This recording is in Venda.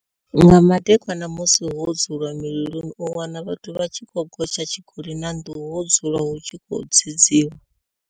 Nga madekwana musi ho dzulwa mililoni u wana vhathu vha tshi khou gotsha tshikoli na nḓuhu ho dzulwa hu tshi khou dzedziwa.